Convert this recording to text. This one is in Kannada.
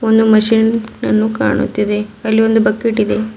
ಒಂದು ಮಷೀನ್ ನನ್ನು ಕಾಣುತ್ತಿದೆ ಅಲ್ಲಿ ಒಂದು ಬಕೆಟ್ ಇದೆ.